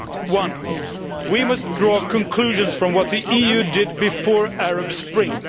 One, we must draw conclusions from what the EU did before the Arab Spring.